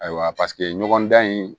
Ayiwa paseke ɲɔgɔndan in